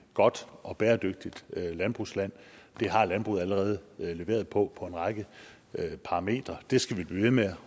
godt og bæredygtigt landbrugsland det har landbruget allerede leveret på på en række parametre det skal vi blive ved med